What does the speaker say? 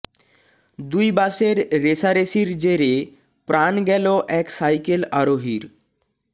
দুই বাসের রেষারেষির জেরে প্রাণ গেল এক সাইকেল আরোহীর